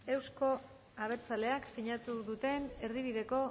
euzko abertzaleak sinatu duten erdibideko